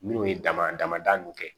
Minnu ye dama dama da nunnu kɛ